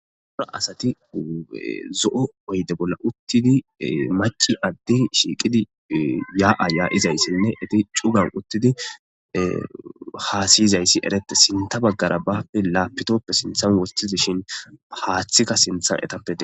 Daaro asati zo'o oydde bolla uttidi macci addey shiqqidi yaa yaizayssa hassaizayssi eeretes sinththa baggara lapttoppe sinththan woththidishin haththika sinththa eetape dess.